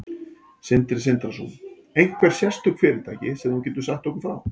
Sindri Sindrason: Einhver sérstök fyrirtæki sem þú getur sagt okkur frá?